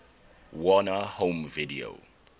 warner home video